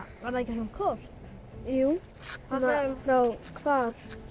var það ekki svona kort jú það frá hvar